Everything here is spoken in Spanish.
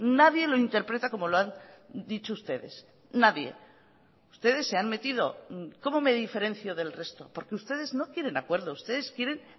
nadie lo interpreta como lo han dicho ustedes nadie ustedes se han metido cómo me diferencio del resto porque ustedes no quieren acuerdo ustedes quieren